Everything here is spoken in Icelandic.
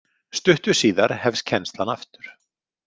Stuttu síðar hefst kennslan aftur.